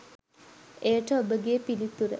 එයට ඔබගේ පිළිතුර